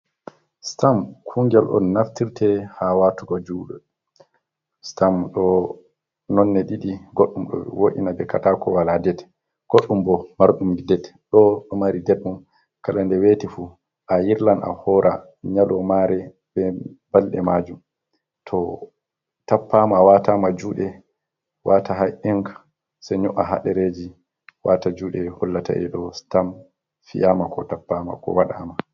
Stam kungel on naftirte ha watugo juɗe Stam ɗo nonde didi goddum ɗo wo’ina be katako wala ded. Goddum bo mardum ded doo mari deddum kala de weti fu a yirla a hora nyalomare be balɗe majum to tappama watama juɗe wata ha’ing se nyo'a ha ɗereji wata juɗe hullataedo Stam fiyama ko tappama ko waɗama.